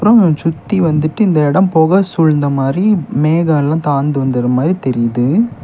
அப்ரோ சுத்தி வந்துட்டு இந்த இடம் புகை சூழ்ந்த மாரி மேகலா தாழ்ந்து வந்துர மாதி தெரியுது.